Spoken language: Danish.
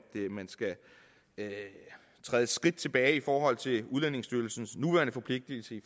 man skal træde et skridt tilbage i forhold til udlændingestyrelsens nuværende forpligtigelse